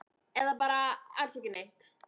Eða bara alls ekki neitt?